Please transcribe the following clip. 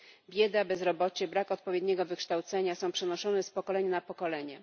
Bieda, bezrobocie, brak odpowiedniego wykształcenia są przenoszone z pokolenia na pokolenie.